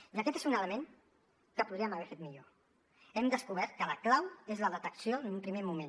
i aquest és un element que podríem haver fet millor hem descobert que la clau és la detecció en un primer moment